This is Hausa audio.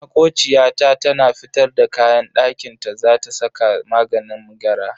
Makociya ta tana fitar da kayan dakinta za ta saka maganin gara.